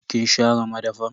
Kin share madafan?